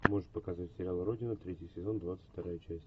можешь показать сериал родина третий сезон двадцать вторая часть